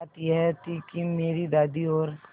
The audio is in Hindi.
बात यह थी कि मेरी दादी और